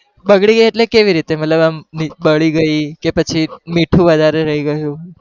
બગડી ગયી એટલે કેવી રીતે? કે આમ બળી ગઈ કે પછી મીઠું વધારે રહી ગયું.